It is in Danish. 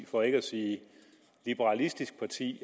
for ikke at sige liberalistisk parti